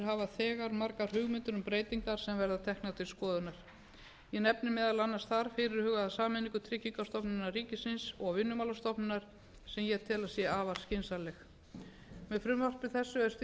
hafa þegar margar hugmyndir um breytingar sem verða teknar til skoðunar ég nefni þar meðal annars fyrirhugaða sameiningu tryggingastofnunar ríkisins og vinnumálastofnunar sem ég tel að sé afar skynsamleg með frumvarpi þessu er stigið fyrsta skref af mörgum í átt